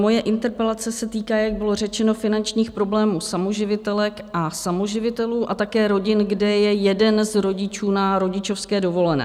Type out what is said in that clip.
Moje interpelace se týká, jak bylo řečeno, finančních problémů samoživitelek a samoživitelů a také rodin, kde je jeden z rodičů na rodičovské dovolené.